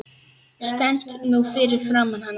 Stend nú fyrir framan hana.